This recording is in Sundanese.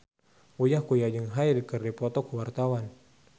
Uya Kuya jeung Hyde keur dipoto ku wartawan